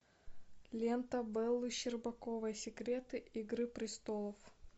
лента беллы щербаковой секреты игры престолов